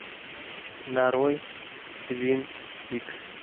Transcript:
нарой твин пикс